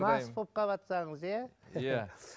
мас болып қалватсаңыз иә иә